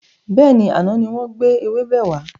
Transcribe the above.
Bẹ́ẹ̀ni, àná ni wọn gbé ewébẹ̀ wà.